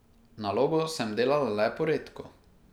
Nalogo sem delala le poredko.